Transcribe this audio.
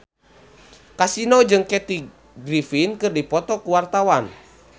Kasino jeung Kathy Griffin keur dipoto ku wartawan